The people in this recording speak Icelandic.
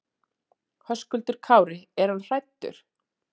Höskuldur Kári: Er hann hræddur?